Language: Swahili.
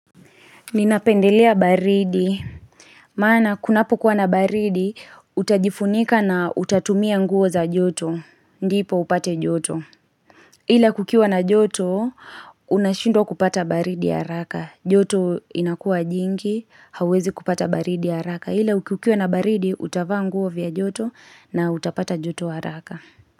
Ninapendelea baridi, maana kunapo kuwa na baridi, utajifunika na utatumia nguo za joto, ndipo upate joto. Ila kukiwa na joto, unashindwa kupata baridi haraka. Joto inakua jingi, hauwezi kupata baridi haraka. Ila kukiwa na baridi, utafaa nguo vya joto na utapata joto ya haraka.